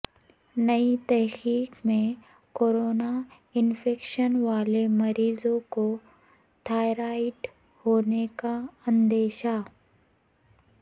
نئی تحقیق میں کورونا انفیکشن والے مریضوں کو تھائرائیڈ ہونے کا اندیشہ